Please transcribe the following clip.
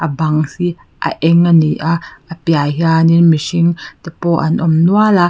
a bang hi a eng a ni a a piah ah hian mihring te pawh an awm nual a.